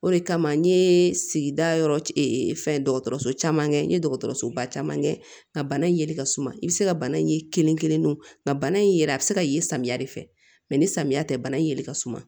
O de kama n ye sigida yɔrɔ fɛn dɔgɔtɔrɔso caman kɛ n ye dɔgɔtɔrɔsoba caman kɛ nka bana in yelen ka suma i bɛ se ka bana in ye kelen kelen o ka bana in yɛrɛ a bɛ se ka ye samiya de fɛ mɛ ni samiya tɛ bana in yeli ka suma